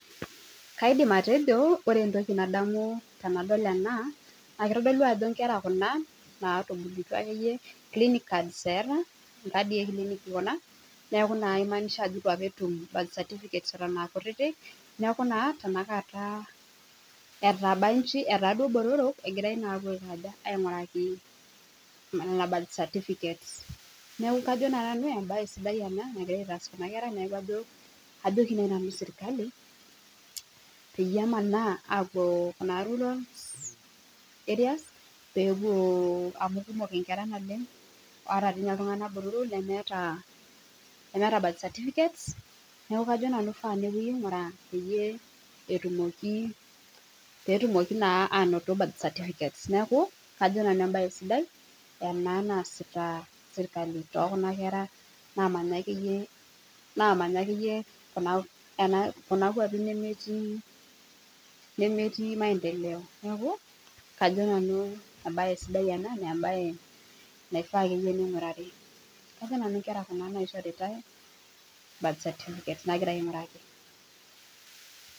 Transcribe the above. Kaidim atejo ore entoki nadamu tenadol ene naa kitodolu ajo inkera kuna naata inkadii ekilini neaku naa imaanisha ajo eitu apa etum birthcertificate aa kutiti niaku naa tenakata etaba inji egirai naa ainguraki nene birthcertificate neaku kajo naa nanu embae sidai ena te serkali peyie emanaa apuo rurals peepuo amu kumok ingera naleng oltunganak botoro lemeeta nena pala neeku kajo nanu mpaka nepuoi ainguraa peetumoki naa ainoto neeku kajo nanu embae sidai ena naasita serkali tookuna kera naamanya kuna kwapi nemetiimaendeleo naa embae sidai nayieu neinguraari